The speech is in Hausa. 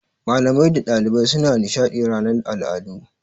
Malamai da ɗalibai suna nishaɗi ranar al'adu.